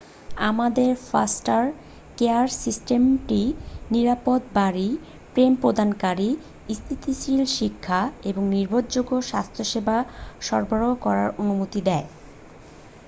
আমাদের foster care সিস্টেমটি নিরাপদ বাড়ি প্রেম প্রদানকারী স্থিতিশীল শিক্ষা এবং নির্ভরযোগ্য স্বাস্থ্যসেবা সরবরাহ করার অনুমতি দেয়